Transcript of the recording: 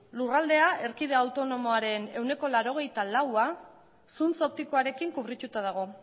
lurraldea erkidego autonomoaren ehuneko laurogeita laua zuntz optikoarekin kubrituta dago